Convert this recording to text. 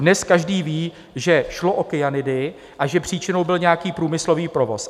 Dnes každý ví, že šlo o kyanidy a že příčinou byl nějaký průmyslový provoz.